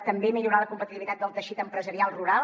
també millorar la competitivitat del teixit empresarial rural